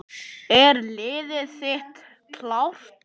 Er liðið þitt klárt?